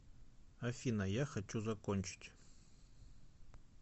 афина я хочу закончить